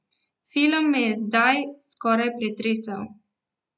Film me je zdaj skoraj pretresel.